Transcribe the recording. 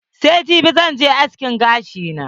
Sai jibi zan je askin gashi na.